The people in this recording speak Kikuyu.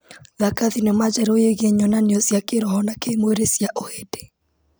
Thaka thinema njerũ yĩgiĩ nyonanio cia kĩroho na kĩmwĩrĩ cia ũhĩndĩ.